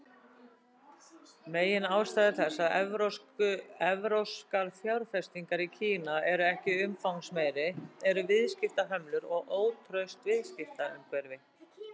Meginástæður þess að evrópskar fjárfestingar í Kína eru ekki umfangsmeiri eru viðskiptahömlur og ótraust viðskiptaumhverfi.